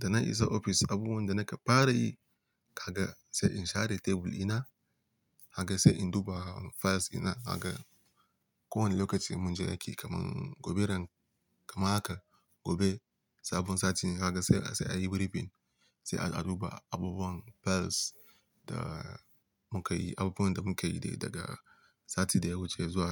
Da na isa ofis, abubuwan da na ka fara yi, kaga sai in share tebul ina, kaga sai in duba files ina, kaga kowane lokacin mun je aiki kaman gobe ran-- kamar haka gobe, sabon sati kaga sai, sai a yi briefing, sai a duba abubuwan files da mu ka yi, abubuwan da mu ka yi dai daga sati da ya wuce zuwa